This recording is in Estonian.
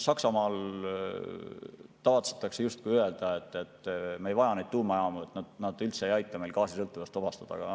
Saksamaal tavatsetakse öelda, et me ei vaja tuumajaamu, need üldse ei aita meid gaasisõltuvusest vabastada.